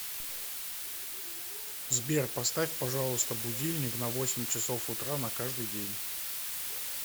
сбер поставь пожалуйста будильник на восемь часов утра на каждый день